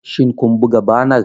Shin kun buga banar?